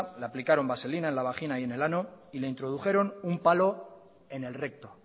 le aplicaron vaselina en la vagina y en el ano y le introdujeron un palo en el recto